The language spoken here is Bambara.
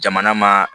Jamana ma